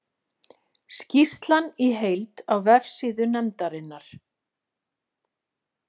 Skýrslan í heild á vefsíðu nefndarinnar